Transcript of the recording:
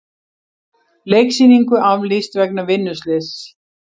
Leiksýningu aflýst vegna vinnuslyss